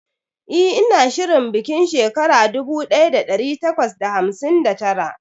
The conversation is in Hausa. eh ina shirin bikin shekara dubu daya da dari takwas da hamsin da tara